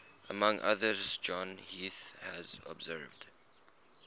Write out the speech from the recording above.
among others john heath has observed